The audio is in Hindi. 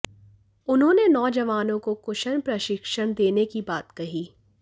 उन्होंने नौजवानों को कुशन प्रशिक्षण देने की बात कही